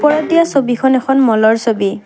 ওপৰত দিয়া ছবিখন এখন ম'লৰ ছবি।